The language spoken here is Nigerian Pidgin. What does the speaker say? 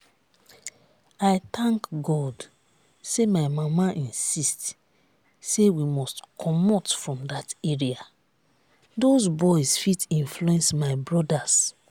i thank god say my mama insist say we must comot from dat area doz boys fit influence my brothers